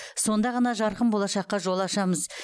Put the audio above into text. сонда ғана жарқын болашаққа жол ашамыз